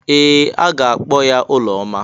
Ee! A ga-akpọ ya Ụlọma.